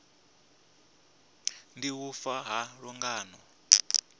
ndi u fa ha lungano